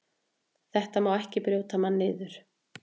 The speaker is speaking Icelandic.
Þetta má ekki brjóta mann niður.